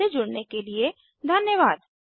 हमसे जुड़ने के लिए धन्यवाद